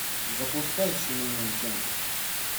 запускай семейный уик энд